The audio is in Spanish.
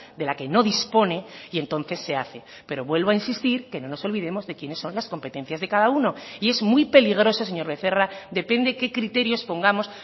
de la que no dispone y entonces se hace pero vuelvo a insistir que no nos olvidemos de quiénes son las competencias de cada uno y es muy peligroso señor becerra depende qué criterios pongamos